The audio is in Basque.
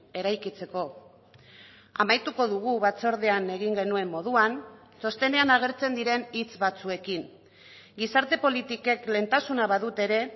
eraikitzeko amaituko dugu batzordean egin genuen moduan txostenean agertzen diren hitz batzuekin gizarte politikek lehentasuna badute ere